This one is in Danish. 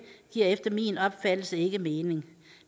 giver efter min opfattelse ikke mening